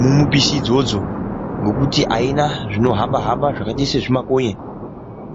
mumipisi idzodzo, ngekuti aina zvinohamba-hamba zvakaita sezvimakonye.